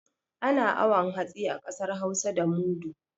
Ana awon hatsi a ƙasar hausa da mudu.